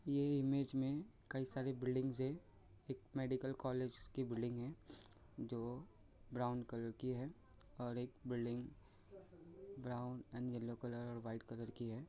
ये इमेज मे कही सारे बिल्डिंग्स है एक मेडिकल कॉलेज की बिल्डिंग है जो ब्राउन कलर की है और एक building brown and yellow and white colour की है।